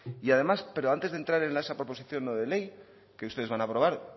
y además pero antes de entrar en esa proposición no de ley que ustedes van a aprobar